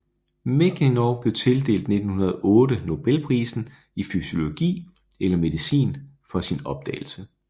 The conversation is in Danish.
Mechnikov blev tildelt 1908 Nobelprisen i fysiologi eller medicin for sin opdagelse